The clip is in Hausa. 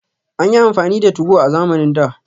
An yi amfani da 2go a zamanin da